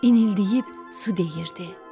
İnildəyib su deyirdi.